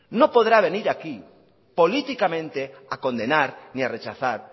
no podrá venir aquí políticamente a condenar ni a rechazar